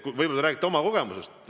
Võib-olla te räägite oma kogemusest.